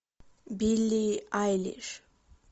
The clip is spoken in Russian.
билли айлиш